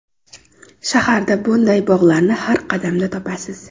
Shaharda bunday bog‘larni har qadamda topasiz.